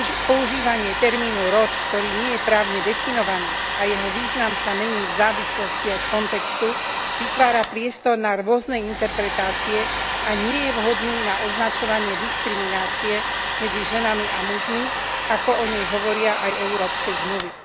Používanie termínu rod, ktorý nie je právne definovaný a jeho význam sa mení v závislosti od kontextu, vytvára priestor na rôzne interpretácie a nie je vhodný na označovanie diskriminácie medzi ženami a mužmi, ako o nej hovoria aj európske zmluvy.